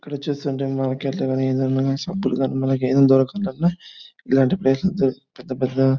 ఇక్కడ చూస్తుంటే మనకి సబ్బులు కనపి-మనకి ఏదైనా దొరకలంటే ఇలాంటి ప్లేస్ లో దొరుక్-పెద్ద పెద్ద --